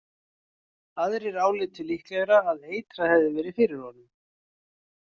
Aðrir álitu líklegra að eitrað hefði verið fyrir honum.